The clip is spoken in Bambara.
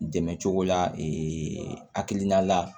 Dɛmɛ cogo la hakilina la